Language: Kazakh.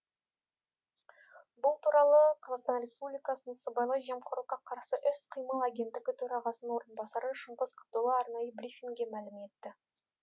бұл туралы қазақстан республикасының сыбайлас жемқорлыққа қарсы іс қимыл агенттігі төрағасының орынбасары шыңғыс қабдола арнайы брифингте мәлім етті